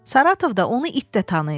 Saratovda onu it də tanıyır.